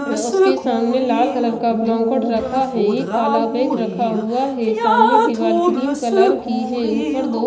उसके सामने लाल कलर का ब्लैंकेट रखा है एक काला बैग रखा हुआ है सामने दीवार क्रीम कलर की है ऊपर दो --